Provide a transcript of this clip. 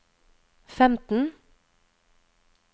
femten